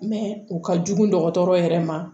o ka jugu dɔgɔtɔrɔ yɛrɛ ma